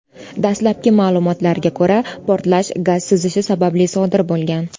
Dastlabki ma’lumotlarga ko‘ra, portlash gaz sizishi sababli sodir bo‘lgan.